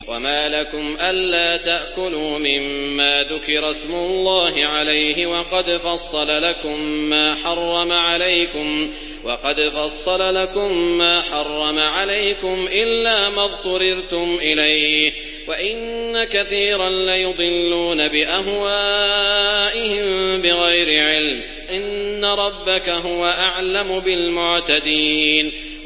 وَمَا لَكُمْ أَلَّا تَأْكُلُوا مِمَّا ذُكِرَ اسْمُ اللَّهِ عَلَيْهِ وَقَدْ فَصَّلَ لَكُم مَّا حَرَّمَ عَلَيْكُمْ إِلَّا مَا اضْطُرِرْتُمْ إِلَيْهِ ۗ وَإِنَّ كَثِيرًا لَّيُضِلُّونَ بِأَهْوَائِهِم بِغَيْرِ عِلْمٍ ۗ إِنَّ رَبَّكَ هُوَ أَعْلَمُ بِالْمُعْتَدِينَ